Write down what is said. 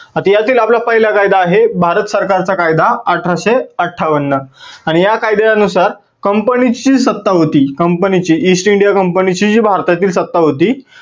आता यातील आपला पहिला कायदा आहे भारत सरकार चा कायदा अठराशे अठ्ठावन्न आणि या कायद्या नुसार company ची सत्ता होती company ची east india company ची जी भारतातली सत्ता होती